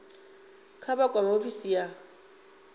kha vha kwame ofisi ya